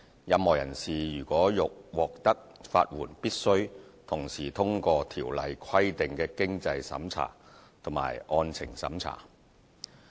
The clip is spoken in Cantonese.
任何人士如欲獲得法援，必須同時通過《條例》規定的經濟審查及案情審查。